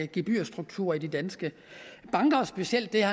gebyrstruktur i de danske banker specielt det